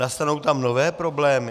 Nastanou tam nové problémy?